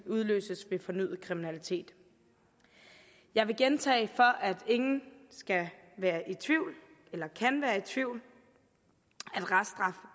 udløses ved fornyet kriminalitet jeg vil gentage for at ingen skal være i tvivl eller kan være i tvivl